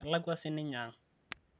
kelakua sininye aang